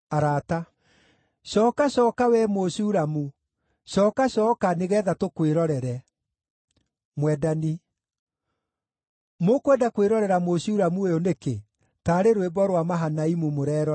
Cooka, cooka, wee Mũshulamu; cooka, cooka, nĩgeetha tũkwĩrorere! Mwendani Mũkwenda kwĩrorera Mũshulamu ũyũ nĩkĩ, taarĩ rwĩmbo rwa Mahanaimu mũreerorera?